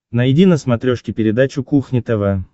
найди на смотрешке передачу кухня тв